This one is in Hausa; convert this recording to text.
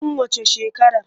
Tun waccan shekarar.